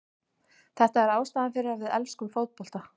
Þetta er ástæðan fyrir að við elskum fótbolta.